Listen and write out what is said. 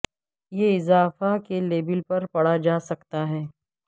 یہ اضافہ کے لیبل پر پڑھا جا سکتا ہے